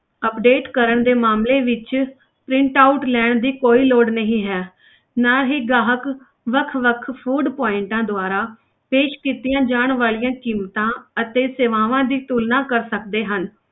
Update ਕਰਨ ਦੇ ਮਾਮਲੇ ਵਿੱਚ print out ਲੈਣ ਦੀ ਕੋਈ ਲੋੜ ਨਹੀਂ ਹੈ ਨਾ ਹੀ ਗਾਹਕ ਵੱਖ ਵੱਖ food points ਦੁਆਰਾ ਪੇਸ਼ ਕੀਤੀਆਂ ਜਾਣ ਵਾਲੀਆਂ ਕੀਮਤਾਂ ਅਤੇ ਸੇਵਾਵਾਂ ਦੀ ਤੁਲਨਾ ਕਰ ਸਕਦੇ ਹਨ।